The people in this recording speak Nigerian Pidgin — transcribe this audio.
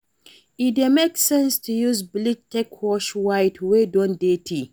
Detergent dey help to fit clean wash cloth well, especially white cloth